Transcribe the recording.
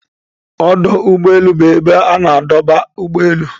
Ọdụ ụgbọ elu bụ ebe a na-adọba ụgbọ elu